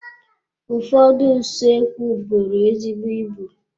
Ụfọdụ usoekwu bụrụ ezigbo ịbụ.